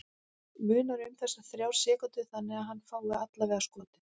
Munar um þessar þrjár sekúndur þannig að hann fái allavega skotið?